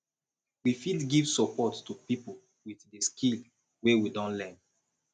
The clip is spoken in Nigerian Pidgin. we fit give support to pipo with di skill wey we don learn